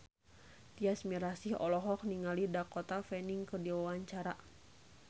Tyas Mirasih olohok ningali Dakota Fanning keur diwawancara